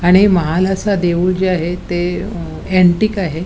आणि महाल असा देऊळ जे आहे ते अँटिक आहे.